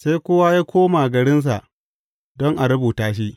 Sai kowa ya koma garinsa don a rubuta shi.